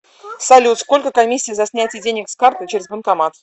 салют сколько комиссия за снятие денег с карты через банкомат